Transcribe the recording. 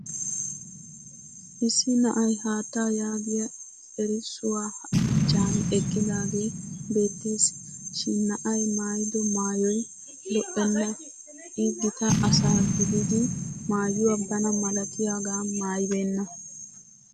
Issi na"ay haattaa yaagiya erissuwaa achchan eqqidaagee beettes. Shin na'ay maayido maayoy lo'enna I gita asaa gidiiddi maayuwa bana malatiyaagaa maayibeenna.